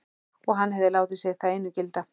Og hann hefði látið sig það einu gilda.